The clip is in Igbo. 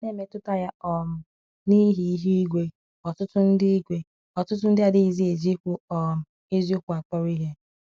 N’emetụta ya um n'ihi ihụ igwe, ọtụtụ ndị igwe, ọtụtụ ndị adịghịzi eji ikwu um eziokwu akpọrọ ihe.